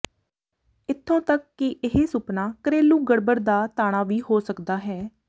ਇੱਥੋਂ ਤੱਕ ਕਿ ਇਹ ਸੁਪਨਾ ਘਰੇਲੂ ਗੜਬੜ ਦਾ ਤਾਣਾ ਵੀ ਹੋ ਸਕਦਾ ਹੈ